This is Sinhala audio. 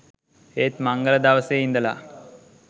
ඒත් මංගල දවසේ ඉඳලා